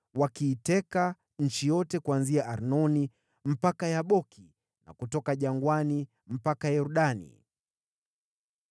wakiiteka nchi yote kuanzia Arnoni mpaka Yaboki, na kutoka jangwani mpaka Yordani.